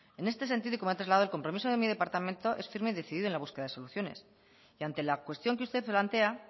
en este sentido y como han trasladado el compromiso de mi departamento es firme y decidido en la búsqueda de soluciones y ante la cuestión que usted plantea